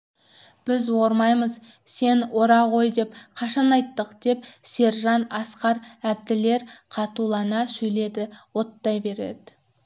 біз ормаймыз сен ора ғой деп қашан айттық деп сержан асқар әбділер қатулана сөйледі оттай береді